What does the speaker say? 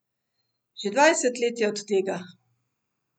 Že dvajset let je od tega.